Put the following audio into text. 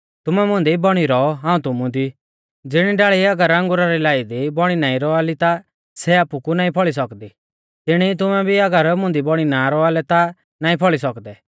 तुमै मुंदी बौणी रौ और हाऊं तुमु दी ज़िणी डाल़ी अगर अंगुरा री लाई दी बौणी नाईं रौआ ली ता सै आपु कु नाईं फौल़ी सौकदी तिणी ई तुमै भी अगर मुंदी बौणी ना रौआ लै ता नाईं फौल़ी सौकदै